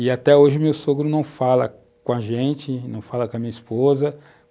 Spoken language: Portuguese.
E até hoje meu sogro não fala com a gente, não fala com a minha esposa.